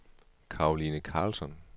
Caroline Karlsson